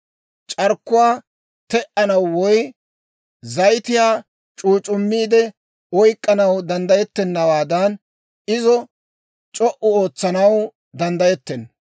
C'arkkuwaa te"anaw woy zayitiyaa c'uuc'c'uumiide oyk'k'anaw danddayettennawaadan, izo c'o"u ootsanaw danddayettenna.